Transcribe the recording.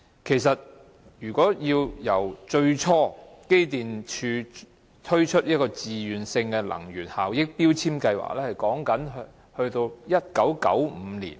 機電工程署最初推出自願性能源效益標籤計劃是在1995年。